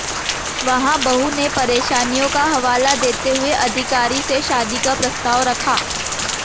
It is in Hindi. वहां बहू ने परेशानियों का हवाला देते हुए अधिकारी से शादी का प्रस्ताव रखा